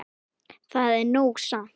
Það er nóg samt.